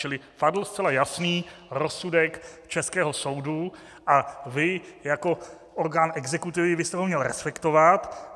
Čili padl zcela jasný rozsudek českého soudu a vy jako orgán exekutivy byste ho měl respektovat.